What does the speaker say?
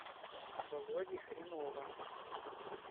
володи хренова